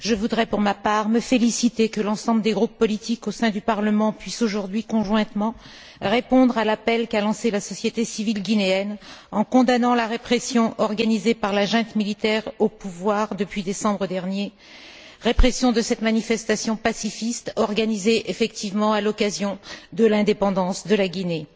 Je voudrais, pour ma part, me féliciter que l'ensemble des groupes politiques au sein du Parlement puissent aujourd'hui conjointement répondre à l'appel qu'a lancé la société civile guinéenne, en condamnant la répression organisée par la junte militaire au pouvoir depuis décembre dernier, répression de la manifestation pacifiste organisée à l'occasion de l'indépendance de la Guinée.